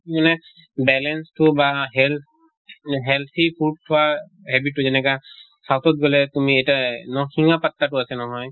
মানে balance টো বা health healthy food খোৱা habit টো যেনেকা south ত গʼলে তুমি এটা নৰসিঙহ পাত্তা টো আছে নহয়